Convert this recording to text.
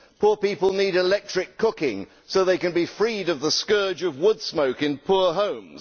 poor people need electric cooking so they can be freed of the scourge of wood smoke in poor homes.